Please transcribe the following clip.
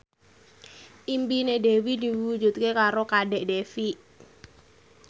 impine Dewi diwujudke karo Kadek Devi